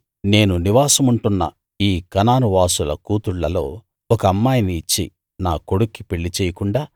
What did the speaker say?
నేను నివాసముంటున్న ఈ కనాను వాసుల కూతుళ్ళలో ఒక అమ్మాయిని ఇచ్చి నా కొడుక్కి పెళ్ళి చేయకుండా